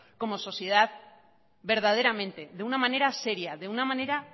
como sociedad verdaderamente de una manera seria de una manera